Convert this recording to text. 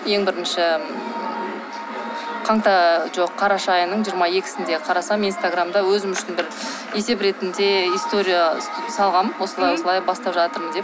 ең бірінші жоқ қараша айының жиырма екісінде қарасам инстаграмда өзім үшін бір есеп ретінде история салғам осылай осылай бастап жатырмын деп